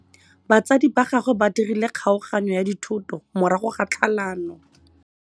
Batsadi ba gagwe ba dirile kgaoganyô ya dithoto morago ga tlhalanô.